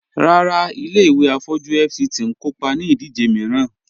Ràrà, ilẹ̀-ìwé afọ̀jú FCT n kòpá ní ìdíjè miìràn